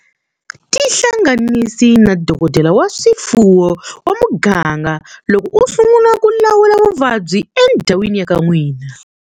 Tihlanganisi na dokodela wa swifuwo wa muganga loko u sungula ku lawula vuvabyi endhawini ya ka n'wina.